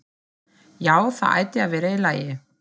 Já, það ætti að vera í lagi.